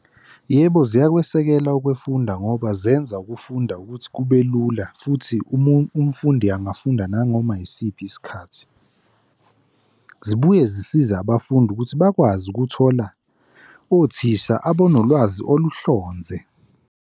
Yebo, ziyakusekela ukufunda ngoba zenza ukufunda ukuthi kube lula, futhi umfundi angafunda nanganoma yisiphi isikhathi. Zibuye zisiza abafundi ukuthi bakwazi ukuthola othisha abanolwazi oluhlonze.